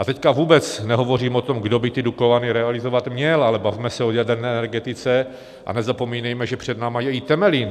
A teď vůbec nehovořím o tom, kdo by ty Dukovany realizovat měl, ale bavme se o jaderné energetice a nezapomínejme, že před námi je i Temelín.